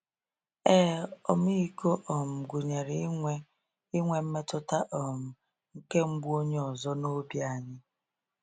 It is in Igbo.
Ee, ọmịiko um gụnyere inwe inwe mmetụta um nke mgbu onye ọzọ n’obi anyị.